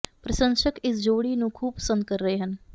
ਪ੍ਰਸ਼ੰਸਕ ਇਸ ਜੋੜੀ ਨੂੰ ਖੂਬ ਪਸੰਦ ਕਰ ਰਹੇ ਹਨ